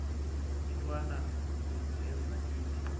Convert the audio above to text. intwana unjeza ithi